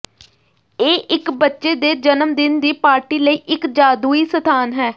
ਇਹ ਇੱਕ ਬੱਚੇ ਦੇ ਜਨਮ ਦਿਨ ਦੀ ਪਾਰਟੀ ਲਈ ਇੱਕ ਜਾਦੂਈ ਸਥਾਨ ਹੈ